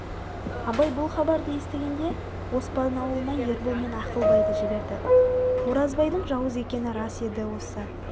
абай бұл хабарды естігенде оспан аулына ербол мен ақылбайды жіберді оразбайдың жауыз екені рас еді осы